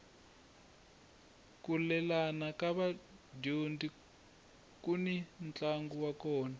ku lelana ka vadyondzi kuni ntlangu wa kona